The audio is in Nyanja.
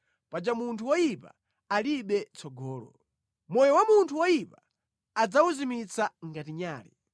paja munthu woyipa alibe tsogolo. Moyo wa anthu oyipa adzawuzimitsa ngati nyale.